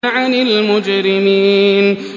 عَنِ الْمُجْرِمِينَ